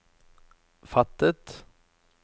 fattet